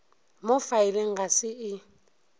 mo faeleng ga se e